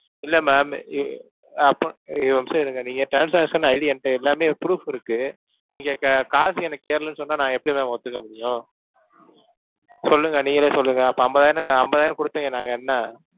இல்ல ma'am இ~ அப்போ இ~ ஒரு நிமிஷம், இருங்க. நீங்க transaction ID என்கிட்ட எல்லாமே proof இருக்கு. நீங்க க~ காசு எனக்கு ஏறலைன்னு சொன்னா நான் எப்படி ma'am ஒத்துக்க முடியும்? சொல்லுங்க நீங்களே சொல்லுங்க அப்ப ஐம்பதாயிரம் நான் ஐம்பதாயிரம் கொடுத்தவுங்க நாங்க என்ன?